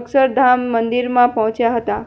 અક્ષરધામ મંદિરમાં પહોંચ્યા હતા